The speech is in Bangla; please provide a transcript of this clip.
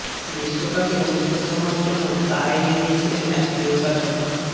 বিশ্বকাপে অনুষ্কা শর্মার জন্য চা এনে দিয়েছিলেন এক নির্বাচক